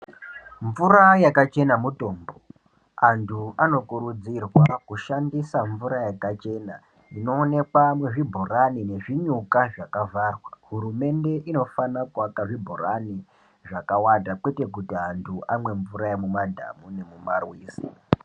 Mvura yakachena mutombo antu anokurudzirwa kushandisa mvura yakachena inoonekwa muzvibhorani nezvinyuka zvakavharwa. Hurumende inofana kuvaka zvibhorani zvakawanda kwete kuti antu amwe mvura yemumadhamu nemumarwizi.